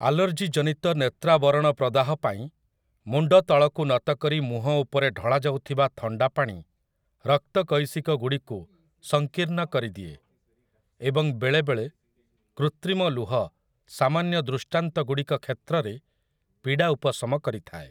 ଆଲର୍ଜିଜନିତ ନେତ୍ରାବରଣପ୍ରଦାହ ପାଇଁ, ମୁଣ୍ଡ ତଳକୁ ନତ କରି ମୁହଁ ଉପରେ ଢଳାଯାଉଥିବା ଥଣ୍ଡା ପାଣି ରକ୍ତକୈଶିକ ଗୁଡ଼ିକୁ ସଂକୀର୍ଣ୍ଣ କରିଦିଏ, ଏବଂ ବେଳେବେଳେ କୃତ୍ରିମ ଲୁହ ସାମାନ୍ୟ ଦୃଷ୍ଟାନ୍ତଗୁଡ଼ିକ କ୍ଷେତ୍ରରେ ପୀଡ଼ା ଉପଶମ କରିଥାଏ ।